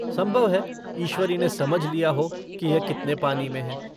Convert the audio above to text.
संभव है ईश्वरी ने समझ लिया हो कि यह कितने पानी में है।